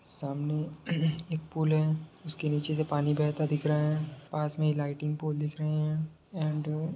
सामने एक पुल है उसके नीचे से पानी बहता दिख रहा है पास मे लाइटिंग पोल दिख रहे है एंड --